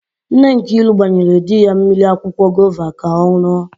Nne Nkiru gbanyere di ya mmiri akwụkwọ gova ka ọ n̄ụọ.